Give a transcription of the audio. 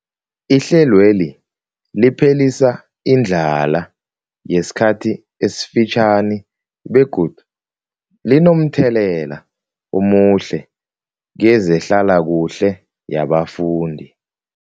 Ihlelweli liphelisa indlala yesikhathi esifitjhani begodu linomthelela omuhle kezehlalakuhle yabafundi.